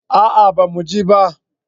A'a ba mu je ba